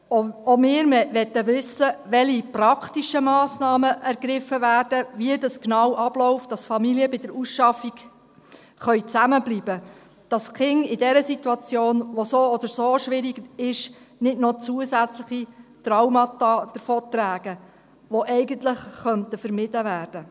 Auch wir wollen wissen, welche praktischen Massnahmen ergriffen werden, wie das genau abläuft, damit Familien bei der Ausschaffung zusammenbleiben können, damit die Kinder in dieser Situation, die so oder so schwierig ist, nicht noch zusätzliche Traumata davontragen, die eigentlich vermieden werden könnten.